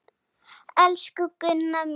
Elsku Gunna mín.